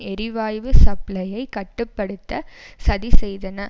எரிவாயு சப்ளையை கட்டு படுத்த சதி செய்தன